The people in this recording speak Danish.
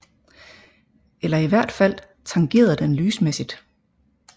Eller i hvert fald tangerede den lysmæssigt